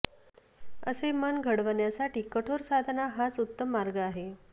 असे मन घडवण्यासाठी कठोर साधना हाच उत्तम मार्ग आहे